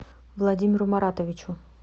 владимиру маратовичу